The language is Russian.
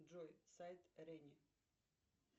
джой сайт рени